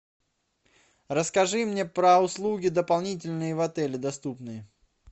расскажи мне про услуги дополнительные в отеле доступные